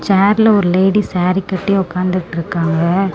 சேர்ல ஒரு லேடி சேரீ கட்டி ஒக்காந்துட்ருக்காங்க.